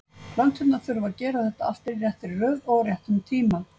Plönturnar þurfa að gera þetta allt í réttri röð og á réttum tíma.